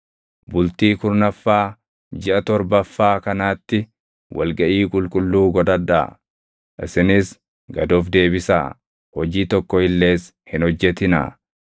“ ‘Bultii kurnaffaa jiʼa torbaffaa kanaatti wal gaʼii qulqulluu godhadhaa; isinis gad of deebisaa; hojii tokko illees hin hojjetinaa.